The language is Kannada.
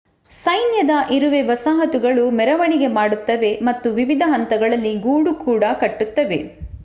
ಸೈನ್ಯದ ಇರುವೆ ವಸಾಹತುಗಳು ಮೆರವಣಿಗೆ ಮಾಡುತ್ತವೆ ಮತ್ತು ವಿವಿಧ ಹಂತಗಳಲ್ಲಿ ಗೂಡು ಕೂಡ ಕಟ್ಟುತ್ತವೆ